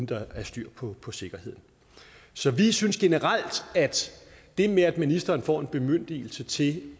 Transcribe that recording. der er styr på på sikkerheden så vi synes generelt at det med at ministeren får en bemyndigelse til